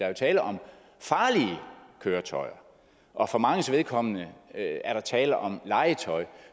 er tale om farlige køretøjer og for manges vedkommende er der tale om legetøj